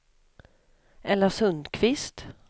Ella Sundkvist